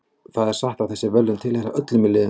Það er satt að þessi verðlaun tilheyra öllum í liðinu.